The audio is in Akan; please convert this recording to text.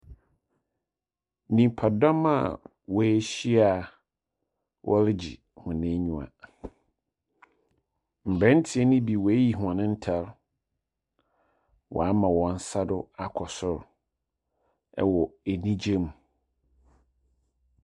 Nipadɔm a woehyia a wɔregye hɔ enyiwa. Mberantseɛ no be woeeyi hɔn ntar wɔama hɔn nsa do akɔ sor wɔ enyigye mu.